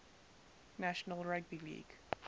national rugby league